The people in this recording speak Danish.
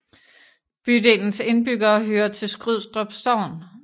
Bydelens indbyggere hører til Skrydstrup Sogn